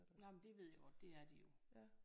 Nej men det ved jeg godt det er de jo